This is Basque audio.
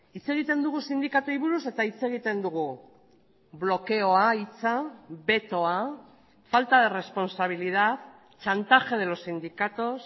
hitz egiten dugu sindikatuei buruz eta hitz egiten dugu blokeoa hitza betoa falta de responsabilidad chantaje de los sindicatos